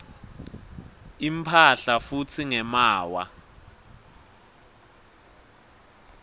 imphahla futsi ngemaawa